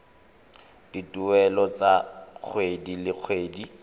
dituelo tsa kgwedi le kgwedi